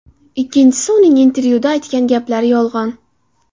Ikkinchisi, uning intervyuda aytgan gaplari yolg‘on.